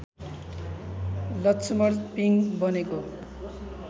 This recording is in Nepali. लक्ष्‍मण पिङ बनेको